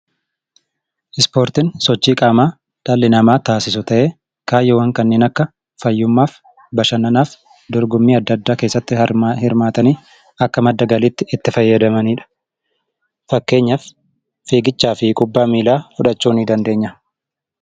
Ispoortiin sochii qaamaa dhalli namaa taasisu ta'ee kaayyoowwan kanneen akka fayyummaaf, bashannanaaf, Dorgommii adda addaa keessatti hirmaatanii akka madda galiitti itti fayyadamani dha. Fakkeenyaaf, fiigichaa fi kubbaa miilaa fudhachuu ni dandeenya.